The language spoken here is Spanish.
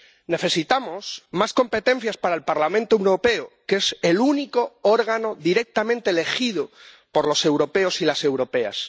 Necesitamos más competencias para el Parlamento Europeo, que es el único órgano directamente elegido por los europeos y las europeas.